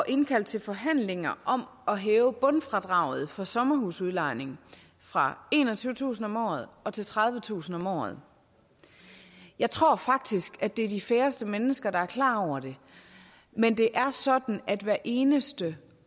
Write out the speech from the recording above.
indkalde til forhandlinger om at hæve bundfradraget for sommerhusudlejning fra enogtyvetusind kroner om året til tredivetusind kroner om året jeg tror faktisk at det er de færreste mennesker der er klar over det men det er sådan at hvert eneste